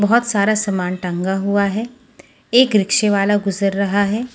बहोत सारा समान टंगा हुआ है एक रिक्शे वाला गुजर रहा है।